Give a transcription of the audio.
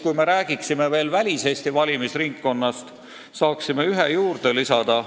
Kui me hakkame rääkima ka väliseesti valimisringkonnast, siis saame ühe juurde lisada.